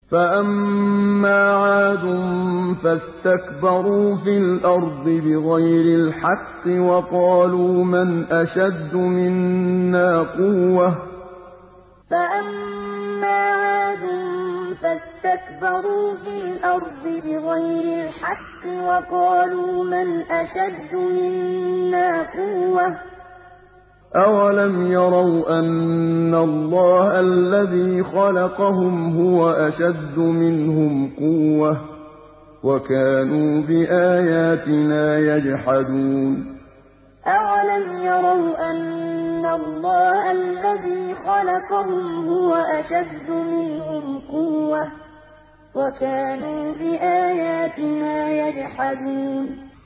فَأَمَّا عَادٌ فَاسْتَكْبَرُوا فِي الْأَرْضِ بِغَيْرِ الْحَقِّ وَقَالُوا مَنْ أَشَدُّ مِنَّا قُوَّةً ۖ أَوَلَمْ يَرَوْا أَنَّ اللَّهَ الَّذِي خَلَقَهُمْ هُوَ أَشَدُّ مِنْهُمْ قُوَّةً ۖ وَكَانُوا بِآيَاتِنَا يَجْحَدُونَ فَأَمَّا عَادٌ فَاسْتَكْبَرُوا فِي الْأَرْضِ بِغَيْرِ الْحَقِّ وَقَالُوا مَنْ أَشَدُّ مِنَّا قُوَّةً ۖ أَوَلَمْ يَرَوْا أَنَّ اللَّهَ الَّذِي خَلَقَهُمْ هُوَ أَشَدُّ مِنْهُمْ قُوَّةً ۖ وَكَانُوا بِآيَاتِنَا يَجْحَدُونَ